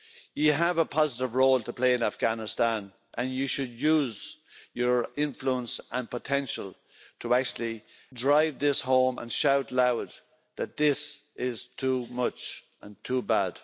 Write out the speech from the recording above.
You have a positive role to play in Afghanistan and you should use your influence and potential to actually drive this home and shout loud that this is too much and too bad.